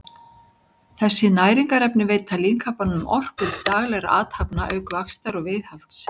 þessi næringarefni veita líkamanum orku til daglegra athafna auk vaxtar og viðhalds